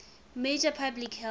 major public health